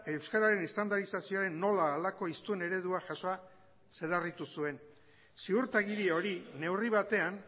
euskararen estandarizazioaren nola halako hiztun eredua zuen ziurtagiri hori neurri batean